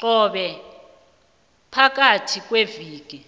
qobe phakayhi kweveke